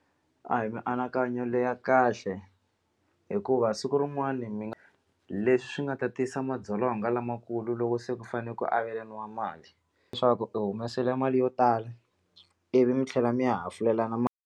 A hi mianakanyo leya kahle hikuva siku rin'wani mi nga leswi nga ta tisa madzolonga lamakulu loko se ku fanele ku avelaniwa mali leswaku u humesile mali yo tala ivi mi tlhela mi ya hafulelana mali.